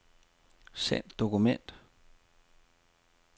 Send dokument.